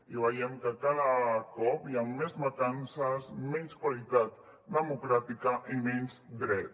i veiem que cada cop hi ha més mancances menys qualitat democràtica i menys dret